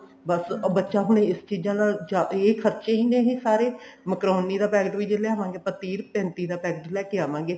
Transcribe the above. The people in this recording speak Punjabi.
ਬੱਸ ਹੁਣ ਬੱਚਾ ਇਸ ਚੀਜ਼ਾਂ ਨਾਲ ਇਹ ਖਰਚੇ ਹੀ ਨੇ ਸਾਰੇ ਮਕਰੋਨੀ ਦਾ packet ਵੀ ਜੇ ਆਪਾਂ ਲਿਆਵਾਂਗੇ ਤੀਹ ਪੈਂਤੀ ਦਾ packet ਲੈਕੇ ਆਵਾਂਗੇ